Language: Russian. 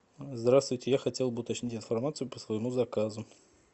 здравствуйте я хотел бы уточнить информацию по своему заказу